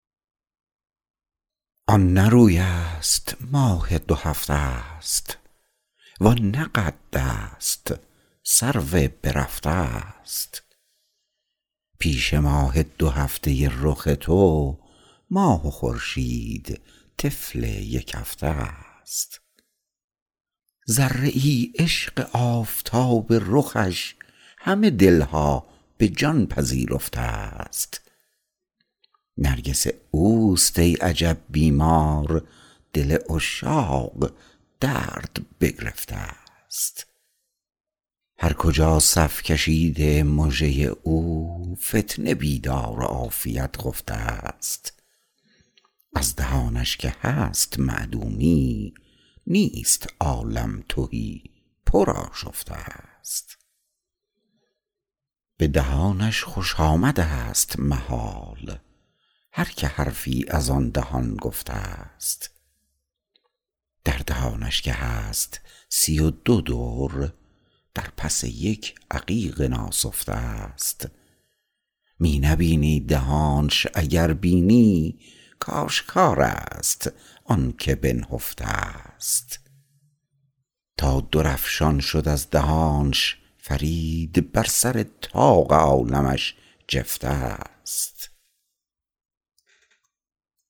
آن نه روی است ماه دو هفته است وان نه قد است سرو بررفته است پیش ماه دو هفته رخ تو ماه و خورشید طفل یک هفته است ذره ای عشق آفتاب رخش همه دلها به جان پذیرفته است نرگس اوست ای عجب بیمار دل عشاق درد بگرفته است هر کجا صف کشیده مژه او فتنه بیدار و عافیت خفته است از دهانش که هست معدومی نیست عالم تهی پر آشفته است به دهانش خوش آمد است محال هر که حرفی از آن دهان گفته است در دهانش که هست سی و دو در در پس یک عقیق ناسفته است می نبینی دهانش اگر بینی کاشکار است آنکه بنهفته است تا درافشان شد از دهانش فرید بر سر طاق عالمش جفته است